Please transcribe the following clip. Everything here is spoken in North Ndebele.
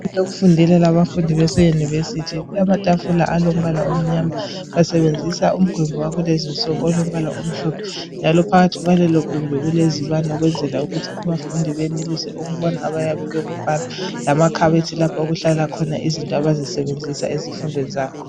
Okufundela abafundi bese univesithi. Amatafula alombala omnyama. Basebenzisa umgwembi walezinsuku olombala omhlophe njalo phakathi kwalelo gumbi kulezibane ukwenzela ukuthi abafundi benelise ukubona abayabe bekubala lamakhabothi lapha okuhlala khona izinto abazisebenzisa ezifundweni zabo.